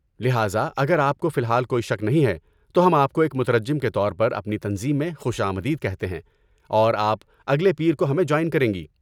لہذا، اگر آپ کو فی الحال کوئی شک نہیں ہے تو ہم آپ کو ایک مترجم کے طور پر اپنی تنظیم میں خوش آمدید کہتے ہیں اور آپ اگلے پیر کو ہمیں جوائن کریں گے۔